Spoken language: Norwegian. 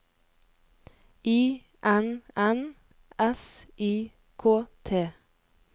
I N N S I K T